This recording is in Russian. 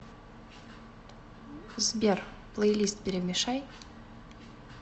сбер плейлист перемешай